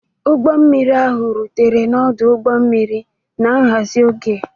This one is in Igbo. Ụgbọ mmiri ahụ rutere n'ọdụ ụgbọ mmiri na nhazi oge.